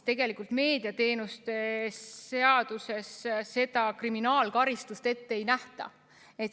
Seevastu meediateenuste seaduses kriminaalkaristust ette ei nähta.